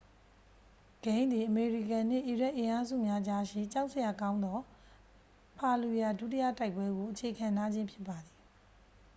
ဂိမ်းသည် အမေရိကန်နှင့် အီရတ်အင်အားစုများကြားရှိ ကြောက်စရာကောင်းသော ဖာလျူယာ ဒုတိယတိုက်ပွဲကို အခြေခံထားခြင်းဖြစ်ပါသည်